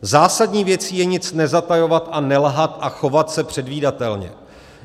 Zásadní věcí je nic nezatajovat a nelhat a chovat se předvídatelně.